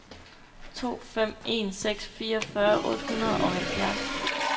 to fem en seks fireogfyrre otte hundrede og halvfjerds